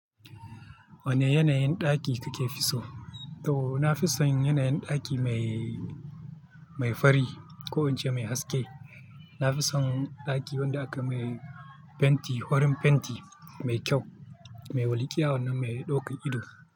Wane yanayin ɗaki kuke fi so? Toh, na fi son yanayin ɗaki mai, mai fari ko in ce mai haske. Na fi son ɗaki wanda aka mai fenti, farin fenti mai kyau, mai walƙiya wannan mai ɗaukan ido.